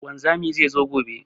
Wanzamin zai zo gobe.